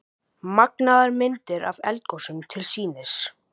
Magnaðar myndir af eldgosum til sýnis